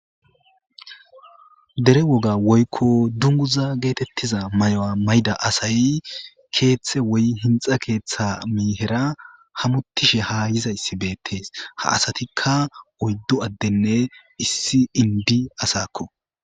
Dere woga woyiko duniguza getetiza maya ma'ida asay kethe woyi hinixa ketha miyera hamutish alizayis betes ha asatika oyidu adenee issi inidi asako